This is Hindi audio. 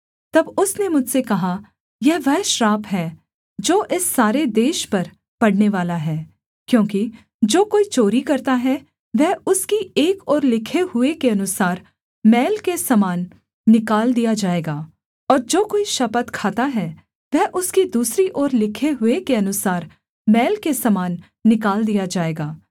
तब उसने मुझसे कहा यह वह श्राप है जो इस सारे देश पर पड़नेवाला है क्योंकि जो कोई चोरी करता है वह उसकी एक ओर लिखे हुए के अनुसार मैल के समान निकाल दिया जाएगा और जो कोई शपथ खाता है वह उसकी दूसरी ओर लिखे हुए के अनुसार मैल के समान निकाल दिया जाएगा